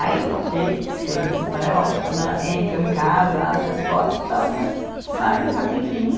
Aí, ok, diz que eles né ó, né, entram em casa, abrem as portas e tal, mas saem rapidinho.